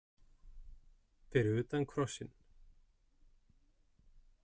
Fyrir utan krossinn.